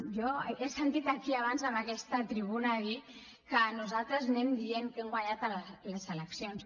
jo he sentit aquí abans en aquesta tribuna dir que nosaltres anem dient que hem guanyat les eleccions